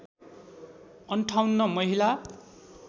५८ महिला